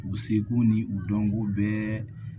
U seko ni u dɔnko bɛɛ